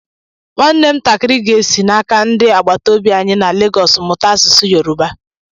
Nwam ntakịrị ga-esi n'aka ndị agbataobi anyi na Lagos mụta asụsụ Yorùbá.